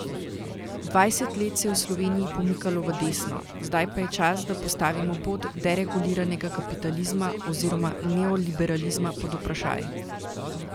Dvajset let se je v Sloveniji pomikalo v desno, zdaj pa je čas, da postavimo pot dereguliranega kapitalizma oziroma neoliberalizma pod vprašaj.